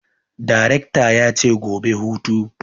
Darekta yace gobe hutu!